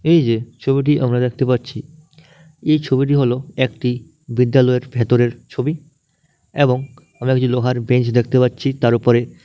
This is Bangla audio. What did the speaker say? এই যে ছবিটি আমরা দেখতে পাচ্ছি এই ছবিটি হল একটি বিদ্যালয়ের ভেতরের ছবি এবং আমি লোহার বেঞ্চ দেখতে পাচ্ছি তার উপরে--